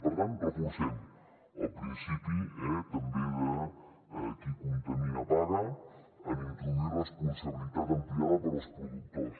per tant reforcem el principi també de qui contamina paga en introduir responsabilitat ampliada per als productors